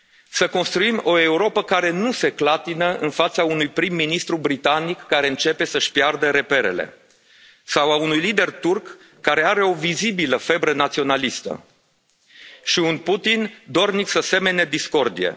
Să construim o Europă care nu se clatină în fața unui prim ministru britanic care începe să și piardă reperele sau a unui lider turc care are o vizibilă febră naționalistă și un Putin dornic să semene discordie.